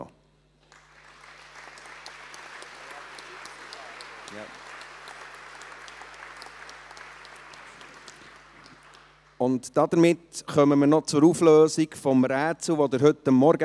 In der Zeit, in der sich die FIN installiert, kommen wir noch zur Auflösung des Rätsels von heute Morgen.